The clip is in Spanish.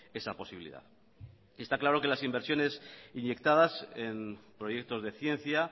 esa posibilidad está claro que las inversiones inyectadas en proyectos de ciencia